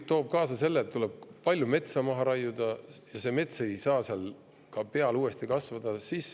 … toob ju kaasa selle, et tuleb palju metsa maha raiuda ja see mets ei saa seal ka uuesti peale kasvada.